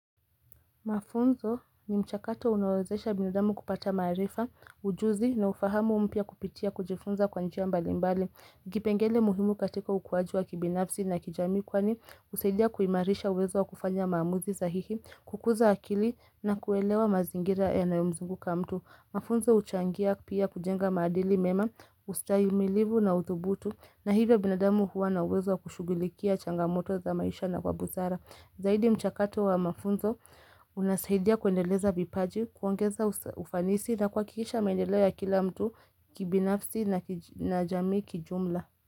Mafunzo ni mchakato unawazesha binadamu kupata maarifa, ujuzi na ufahamu mpya kupitia kujifunza kwa njia mbali mbali. Kipengele muhimu katika ukuwaji wa kibinafsi na kijamii kwani, usaidia kuimarisha uwezo wa kufanya maamuzi sahihi, kukuza akili na kuelewa mazingira yanayo mzunguka mtu. Mafunzo huchangia pia kujenga maadili mema, ustahimilivu na udhubutu na hivyo binadamu huwa na uwezo wa kushugulikia changamoto za maisha na kwa busara. Zaidi mchakato wa mafunzo, unasaidia kuendeleza vipaji, kuongeza ufanisi na kwa kuhakikiisha maendeleo ya kila mtu kibinafsi na jamii kijumla.